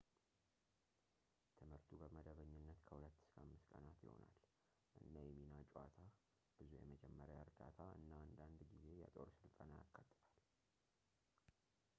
ትምህርቱ በመደበኝነት ከ2-5 ቀናት ይሆናል እና የሚና ጨዋታ፣ ብዙ የመጀመሪያ እርዳታ እና አንዳንድ ጊዜ የጦር ስልጠና ያካትታል